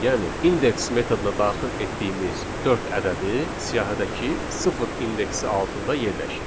Yəni, indeks metoduna daxil etdiyimiz dörd ədədi siyahıdakı sıfır indeksi altında yerləşir.